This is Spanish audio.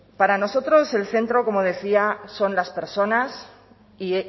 para nosotros el centro como decía son las personas y